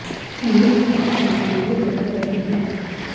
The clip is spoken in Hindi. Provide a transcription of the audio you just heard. लोग राहत पाने के लिए भटक रहे हैं